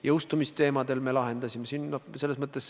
Jõustumisteemad me lahendasime.